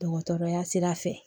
Dɔgɔtɔrɔya sira fɛ